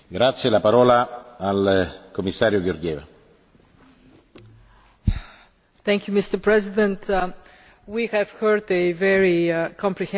Mr President, we have heard a very comprehensive presentation from the Council.